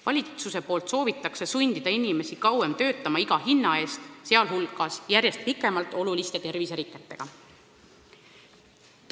Valitsus soovib sundida inimesi kauem töötama iga hinna eest, sealhulgas järjest pikemalt oluliste terviseriketega.